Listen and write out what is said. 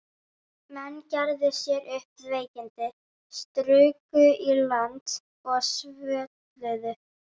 Menn gerðu sér upp veikindi, struku í land og svölluðu.